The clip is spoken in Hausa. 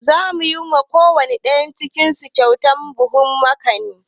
Za mu yi wa kowane ɗayan su kyautan buhun makani